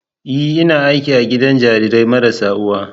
Ee! Ina aiki a gidan jarirai marasa uwa.